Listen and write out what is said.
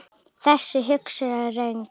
Þessi hugsun er röng.